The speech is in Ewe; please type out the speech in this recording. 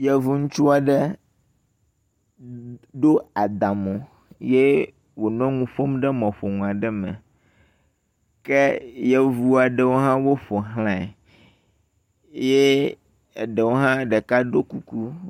Yevu ŋutsu aɖe ɖo adamo ye wonɔ nu ƒom ɖe mɔƒonu aɖe me ke yevu aɖewo hã woƒoxlae ye eɖewo hã ɖeka ɖo kuku.